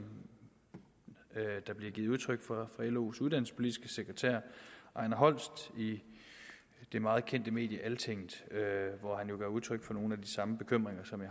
der bliver givet udtryk for af los uddannelsespolitiske sekretær ejner holst i det meget kendte medie altinget hvor han jo giver udtryk for nogle af de samme bekymringer som